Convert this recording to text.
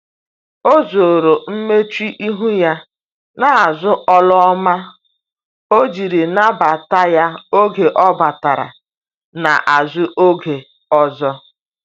o zoro mmechuihu ya na azu olu ọma ojiri nabata ya oge ọ batara na azụ oge ọzọ